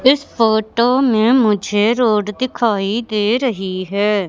इस फोटो में मुझे रोड दिखाई दे रही हैं।